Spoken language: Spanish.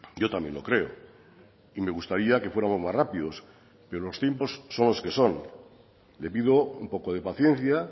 yo también lo creo y me gustaría que fuéramos más rápidos pero los tiempos son los que son le pido un poco de paciencia